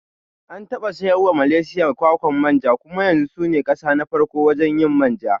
An taɓa sayarwa Malaysia kwakwan manja kuma yanzu sune kasa na farko wajen yin manja